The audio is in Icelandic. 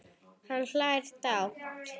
Hann hlær dátt.